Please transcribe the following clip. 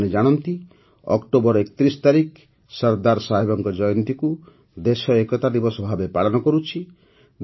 ଆପଣମାନେ ଜାଣନ୍ତି ଯେ ଅକ୍ଟୋବର ୩୧ ତାରିଖ ସରଦାର ସାହେବଙ୍କ ଜୟନ୍ତୀକୁ ଦେଶ ଏକତା ଦିବସ ଭାବରେ ପାଳନ କରୁଛି